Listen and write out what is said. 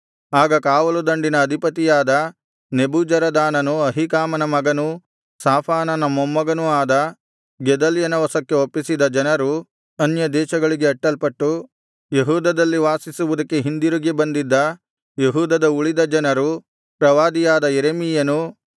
ಆಗ ಕಾವಲುದಂಡಿನ ಅಧಿಪತಿಯಾದ ನೆಬೂಜರದಾನನು ಅಹೀಕಾಮನ ಮಗನೂ ಶಾಫಾನನ ಮೊಮ್ಮಗನೂ ಆದ ಗೆದಲ್ಯನ ವಶಕ್ಕೆ ಒಪ್ಪಿಸಿದ ಜನರು ಅನ್ಯದೇಶಗಳಿಗೆ ಅಟ್ಟಲ್ಪಟ್ಟು ಯೆಹೂದದಲ್ಲಿ ವಾಸಿಸುವುದಕ್ಕೆ ಹಿಂದಿರುಗಿ ಬಂದಿದ್ದ ಯೆಹೂದದ ಉಳಿದ ಜನರು ಪ್ರವಾದಿಯಾದ ಯೆರೆಮೀಯನು